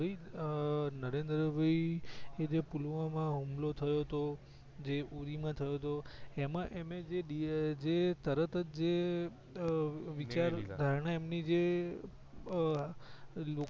હર્ષદ ભાઈ અ નરેન્દ્ર ભાઈ જે પુલવા માં હુમલો થયો તો જે ઉરી માં થયો તો એમાં એમને જે તરત જ વિચાર ધારણા એમની જે અ